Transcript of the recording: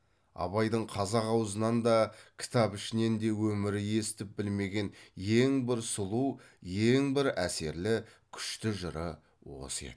абайдың қазақ аузынан да кітап ішінен де өмірі естіп білмеген ең бір сұлу ең бір әсерлі күшті жыры осы еді